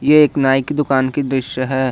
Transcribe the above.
एक नाई की दुकान की दृश्य है।